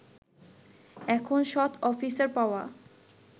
এখন সৎ অফিসার পাওয়া